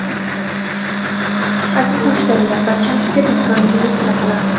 Aziz mushtariylar, barchangizga tezkor internet tilab qolamiz.